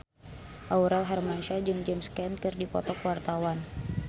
Aurel Hermansyah jeung James Caan keur dipoto ku wartawan